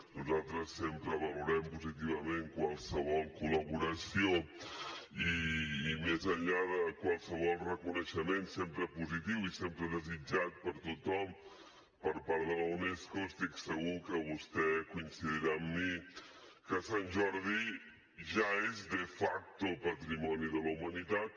nosaltres sempre valorem positivament qualsevol col·laboració i més enllà de qualsevol reconeixement sempre positiu i sempre desitjat per tothom per part de la unesco estic segur que vostè deu coincidir amb mi que sant jordi ja és de facto patrimoni de la humanitat